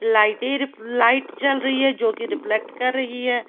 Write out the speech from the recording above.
लाइटें र लाइट जल रही है जोकि रिफ्लेक्ट कर रही है।